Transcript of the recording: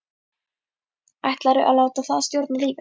Ætlarðu að láta það stjórna lífinu?